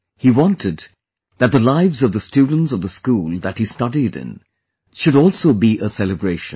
He wanted that the lives of the students of the school that he studied in should also be a celebration